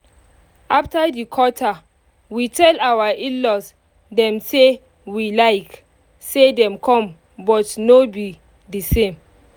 after di quata we tell our in-law dem say we like say dem come but no be the same